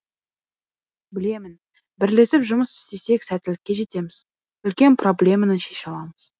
білемін бірлесіп жұмыс істесек сәттілікке жетеміз үлкен проблеманы шеше аламыз